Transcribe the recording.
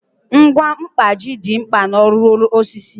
Ngwa mkpaji dị mkpa n'ọrụ osisi